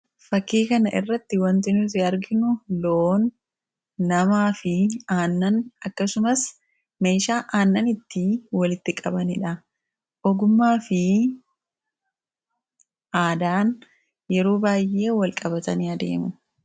fakkii kana irratti wanti nuti arginu loon, namaa fi aannan akkasumas meeshaa aannan itti walitti qabaniidha. Ogumaa fi aadaan yeroo baay'ee wal qabatanii adeemu.